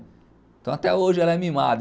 Então até hoje ela é mimada.